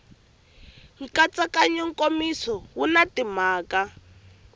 nkatsakanyo nkomiso wu na timhaka